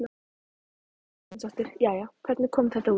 Karen Kjartansdóttir: Jæja, hvernig kom þetta út?